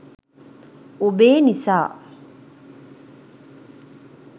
ඔබේ නිසා